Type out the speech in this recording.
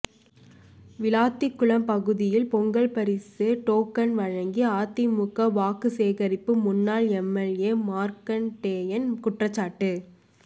விளாத்திகுளம் பகுதியில் பொங்கல் பரிசு டோக்கன் வழங்கி அதிமுக வாக்கு சேகரிப்பு முன்னாள் எம்எல்ஏ மார்க்கண்டேயன் குற்றச்சாட்டு